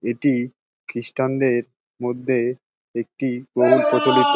এটি খ্রীস্টান -দের মধ্যে একটি অনেক প্রচলিত --